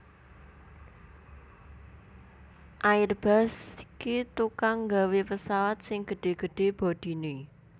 Airbus ki tukang gawe pesawat sing gede gede bodine